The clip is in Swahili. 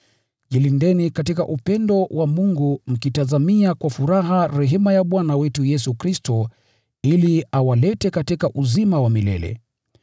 Jilindeni katika upendo wa Mungu mkitazamia kwa furaha rehema ya Bwana wetu Yesu Kristo ili awalete katika uzima wa milele.